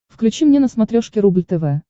включи мне на смотрешке рубль тв